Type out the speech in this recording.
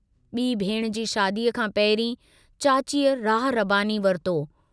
B भेणु जी शादीअ खां पहिरीं, चाचीअ राह रबानी वरिती।